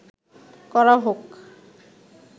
করা হোক